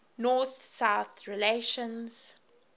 north south relations